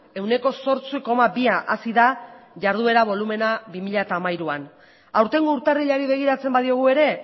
ehuneko zortzi koma bi hazi da jarduera bolumena bi mila hamairu aurtengo urtarrilari begiratzen badiogu ere